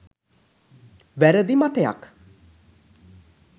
වැරදි මතයක්